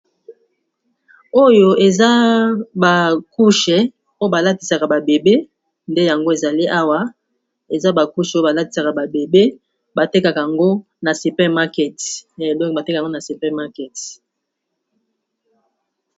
Oyo eza ba couche oyo ba latisaka ba bébé, nde yango ezali awa eza ba couche oyo ba latisaka ba bébé batekaka ngo na super market. Donc batekaka yango na super market.